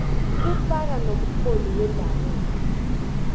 kufaka nomrholi wendabuko